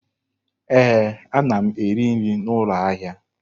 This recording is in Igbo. Ee, ana m eri nri n'ụlọ ahịa.